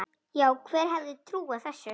Já, hver hefði trúað þessu?